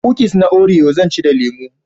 Kukis na orio zan ci da lemo